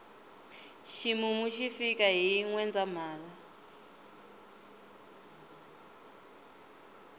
ximumu xi fika hi nwendzahala